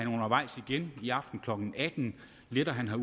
igen i aften klokken atten letter han